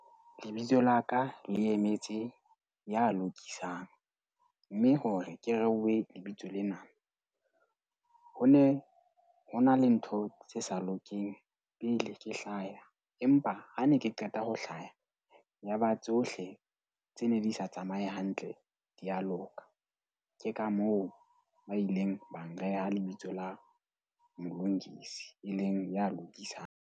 Lebitso la ka le emetse ya lokisang, mme hore ke rehe lebitso lena, ho ne ho na le ntho tse sa lokeng pele ke hlaya. Empa ha ne ke qeta ho hlaha yaba tsohle tse ne di sa tsamaye hantle, di ya loka. Ke ka moo ba ileng ba nreha lebitso la Mlungisi, e leng ya lokisang.